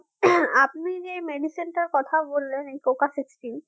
আপনি যেই medicine টার কথা বললেন coca sixteen